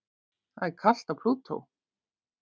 Það er kalt á Plútó.